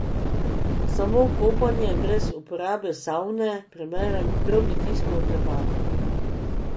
Samo kopanje, brez uporabe savne, preberem drobni tisk v oklepaju.